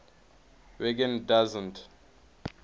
wiggin doesn t